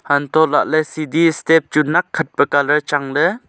antoh lah let sidi step chu nakkhat pe colour changley.